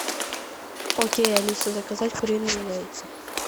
окей алиса заказать куриные яйца